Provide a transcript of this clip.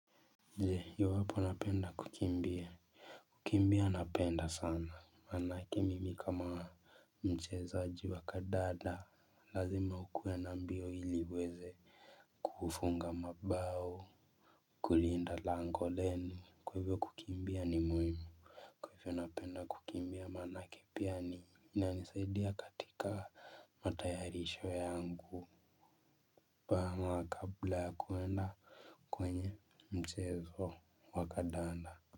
Je iwapo unapenda kukimbia. Kukimbia napenda sana. Maana kimimi kama mchezaji wa kandanda lazima ukuwe na mbio ili uweze kufunga mabao. Kulinda lango lenu. Kwa hivyo kukimbia ni muhimu. Kwa hivyo napenda kukimbia manake pia ni inanisaidia katika matayarisho yangu. We amua kabla ya kuenda kwenye mchezo wa kandanda.